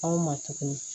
Anw ma tuguni